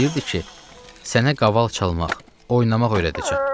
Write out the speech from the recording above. O deyirdi ki, sənə qaval çalmaq, oynamaq öyrədəcəm.